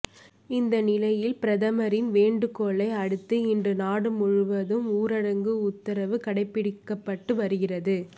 இந்த நிலையில் பிரதமரின் வேண்டுகோளை அடுத்து இன்று நாடு முழுவதும் ஊரடங்கு உத்தரவு கடைப்பிடிக்கப்பட்டு வருகிறது